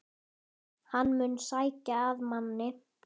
Hann mun sækja að manni.